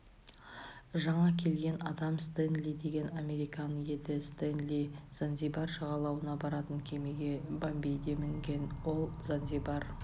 жаңа келген адам стенли деген американ еді стенли занзибар жағалауына баратын кемеге бомбейде мінген ол занзибар